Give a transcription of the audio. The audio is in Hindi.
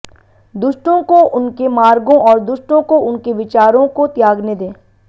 दुष्टों को उनके मार्गों और दुष्टों को उनके विचारों को त्यागने दें